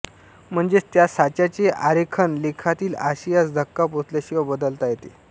म्हणजेच त्या साच्याचे आरेखन लेखातील आशयास धक्का पोचल्याशिवाय बदलता येते